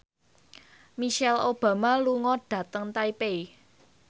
Michelle Obama lunga dhateng Taipei